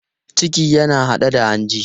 Ciki yana haɗe da hanji.